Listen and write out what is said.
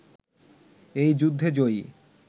এই যুদ্ধে জয়ী